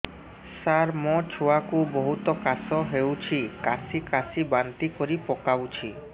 ସାର ମୋ ଛୁଆ କୁ ବହୁତ କାଶ ହଉଛି କାସି କାସି ବାନ୍ତି କରି ପକାଉଛି